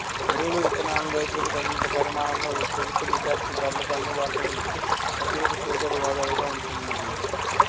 ఎరువులు విత్తనాలనూ రైతులకు తగినంత పరిమాణంలో ప్రభుత్వనిర్ధారిత ధరలకు అందుబాటులో ఉంచుతూ సభ్యులకు చేదోడు వాదోడుగా ఉంటున్నది